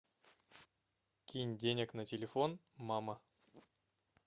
кинь денег на телефон мама